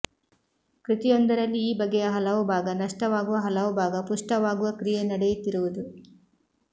ಕೃತಿಯೊಂದರಲ್ಲಿ ಈ ಬಗೆಯ ಹಲವು ಭಾಗ ನಷ್ಟವಾಗುವ ಹಲವು ಭಾಗ ಪುಷ್ಟವಾಗುವ ಕ್ರಿಯೆ ನಡೆಯುತ್ತಿರುವುದು